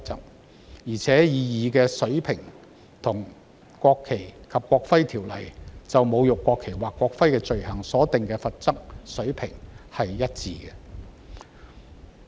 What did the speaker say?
此外，《條例草案》所訂的罰則水平，與《國旗及國徽條例》就侮辱國旗或國徽的罪行所訂的罰則水平一致。